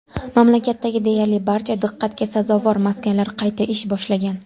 Mamlakatdagi deyarli barcha diqqatga sazovor maskanlar qayta ish boshlagan.